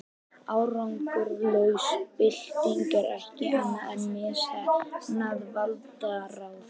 árangurslaus bylting er ekkert annað en misheppnað valdarán